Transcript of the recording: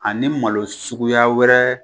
A ni malo suguya wɛrɛ